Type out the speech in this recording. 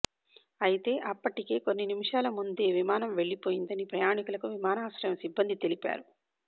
అయితే అప్పటికే కొన్ని నిమిషాల ముందే విమానం వెళ్లిపోయిందని ప్రయాణికులకు విమానాశ్రయం సిబ్బంది తెలిపారు